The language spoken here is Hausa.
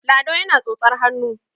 lado yana tsotsar hannu